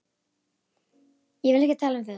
Ég vil ekki tala um þetta.